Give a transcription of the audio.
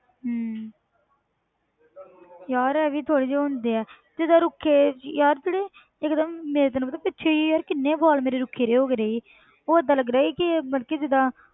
ਹਮ ਯਾਰ ਇਹ ਵੀ ਥੋੜ੍ਹੇ ਜਿਹੇ ਹੁੰਦੇ ਹੈ ਜਿੱਦਾਂ ਰੁੱਖੇ ਯਾਰ ਜਿਹੜੇ ਇੱਕਦਮ ਮੇਰੇ ਤੈਨੂੰ ਪਤਾ ਪਿੱਛੇ ਜਿਹੇ ਯਾਰ ਕਿੰਨੇ ਵਾਲ ਮੇਰੇ ਰੁੱਖੇ ਜਿਹੇ ਹੋ ਗਏ ਸੀ ਉਹ ਏਦਾਂ ਲੱਗ ਰਿਹਾ ਸੀ ਕਿ ਮਤਲਬ ਕਿ ਜਿੱਦਾਂ,